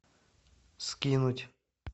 скинуть